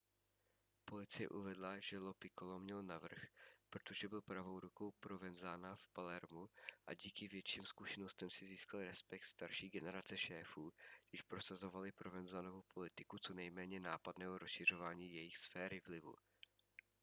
policie uvedla že lo piccolo měl navrch protože byl pravou rukou provenzana v palermu a díky větším zkušenostem si získal respekt starší generace šéfů když prosazovali provenzanovu politiku co nejméně nápadného rozšiřování jejich sféry vlivu